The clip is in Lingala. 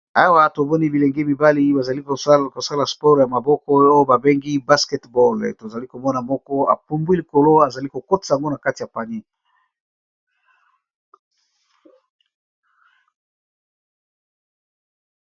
Awa tomoni bilenge mibali bazali kosala sport ya maboko oyo babengi basketball tozali komona moko apumbwi likolo azali kokotisa ngo na kati ya panier.